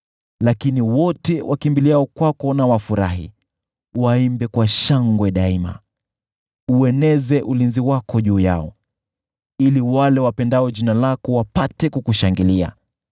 Lakini wote wakimbiliao kwako na wafurahi, waimbe kwa shangwe daima. Ueneze ulinzi wako juu yao, ili wale wapendao jina lako wapate kukushangilia.